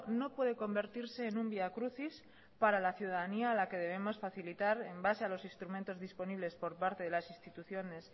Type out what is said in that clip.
no puede convertirse en un vía crucis para la ciudadanía a la que debemos facilitar en base a los instrumentos disponibles por parte de las instituciones